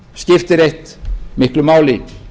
auðvitað skiptir eitt miklu máli